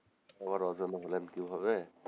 আবার অজানা হলেন কিভাবে?